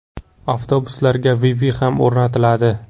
Avtobuslarga Wi-Fi ham o‘rnatiladi.